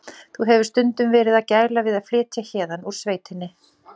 Sá sem hún hafði séð eftir eins mikið og þrekið leyfði, með öðrum verkefnum.